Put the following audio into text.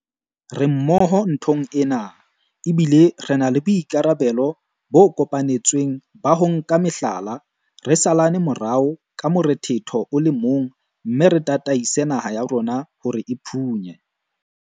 Re mmoho nthong ena, ebile re na le boikarabelo bo kopanetsweng ba ho nka meqala, re salane morao ka morethetho o le mong mme re tataise naha ya rona hore e phunye